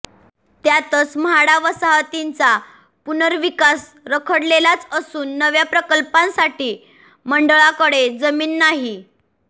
त्यातच म्हाडा वसाहतींचा पुनर्विकास रखडलेलाच असून नव्या प्रकल्पांसाठी मंडळाकडे जमीन नाही